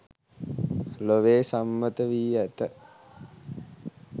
ලොවේ සම්මත වී ඇත